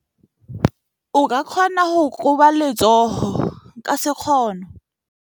O ka kgona go koba letsogo ka sekgono.